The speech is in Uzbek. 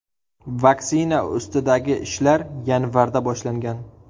Vaksina ustidagi ishlar yanvarda boshlangan.